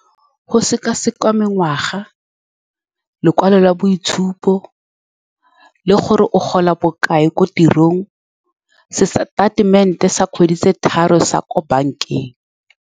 Go seka-sekwa mengwaga, lekwalo la boitshupo le gore o gola bokae ko tirong, se sa statement-e sa kgwedi sa ko bankeng.